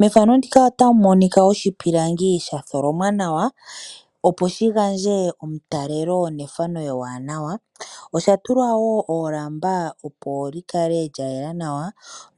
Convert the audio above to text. Mefano ndika ota mu monika oshipilangi sha tholomwa nawa opo shigandje omutalelo nefano ewanawa. Osha tulwa wo oolamba opo dhikale lyaayela nawa